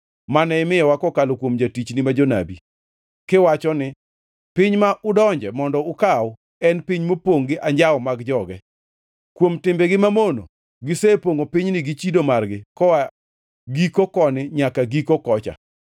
mane imiyowa kokalo kuom jotichni ma jonabi, kiwacho ni, ‘Piny ma udonje mondo ukaw en piny mopongʼ gi anjawo mag joge. Kuom timbegi mamono gisepongʼo pinyni gi chido margi koa giko koni nyaka giko kocha.